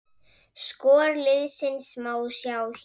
Skor liðsins má sjá hér